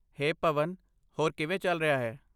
ਹੇ ਭਵਨ, ਹੋਰ ਕਿਵੇਂ ਚੱਲ ਰਿਹਾ ਹੈ?